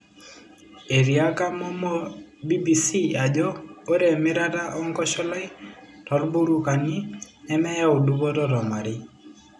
Etiaka Momoh BBC ajo ore emirata enkosholai toburokani nemeyau dupoto tomarei.